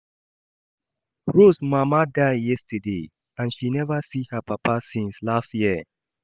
Rose mama die yesterday and she never see her papa since last year